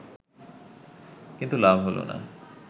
কিন্তু লাভ হলো না